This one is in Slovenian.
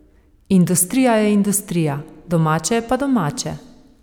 Industrija je industrija, domače je pa domače.